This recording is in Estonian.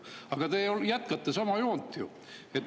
Aga te jätkate ju sama joont.